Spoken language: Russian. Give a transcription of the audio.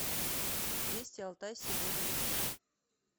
вести алтай сегодня